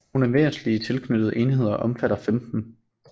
Nogle væsentlige tilknyttede enheder omfatter 15